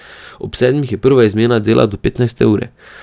Ob sedmih je prva izmena dela do petnajste ure.